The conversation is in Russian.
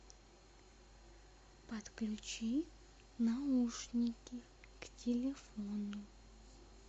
подключи наушники к телефону